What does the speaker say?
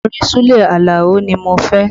Orin Sule Alao ni mo fẹ́